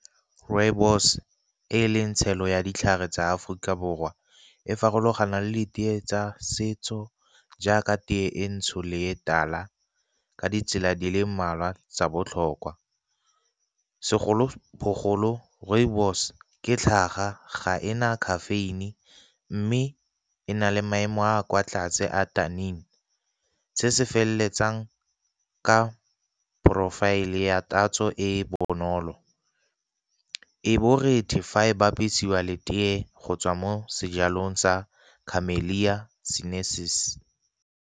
Rooibos e leng tshelo ya ditlhare tsa Aforika Borwa e farologana le teye tsa setso jaaka teye e ntsho le tala ka ditsela di le mmalwa tsa botlhokwa, segolobogolo rooibos ke tlhaga ga ena caffeine mme e na le maemo a kwa tlase a . Se se feleletsang ka porofaele ya tatso e e bonolo, e borethe fa e bapisiwa le teye go tswa mo sejalong sa camellia sinensis.